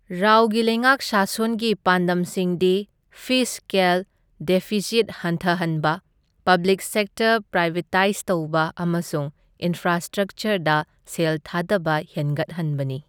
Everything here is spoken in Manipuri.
ꯔꯥꯎꯒꯤ ꯂꯩꯉꯥꯛ ꯁꯥꯁꯣꯟꯒꯤ ꯄꯥꯟꯗꯝꯁꯤꯡꯗꯤ ꯐꯤꯁꯀꯦꯜ ꯗꯦꯐꯤꯁꯤꯠ ꯍꯟꯊꯍꯟꯕ, ꯄꯕ꯭ꯂꯤꯛ ꯁꯦꯛꯇꯔ ꯄ꯭ꯔꯥꯏꯚꯦꯇꯥꯏꯖ ꯇꯧꯕ, ꯑꯃꯁꯨꯡ ꯏꯟꯐ꯭ꯔꯥꯁꯇ꯭ꯔꯛꯆꯔꯗ ꯁꯦꯜ ꯊꯥꯗꯕ ꯍꯦꯟꯒꯠꯍꯟꯕꯅꯤ꯫